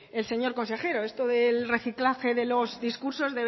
el señor consejero esto del reciclaje de los discursos